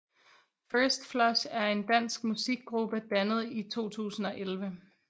First Flush er en dansk musikgruppe dannet 2011